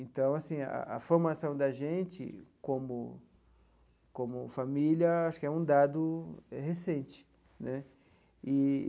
Então, assim, a a formação da gente como como família acho que é um dado recente né eee.